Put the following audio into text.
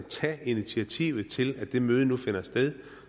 tage initiativet til at det møde nu finder sted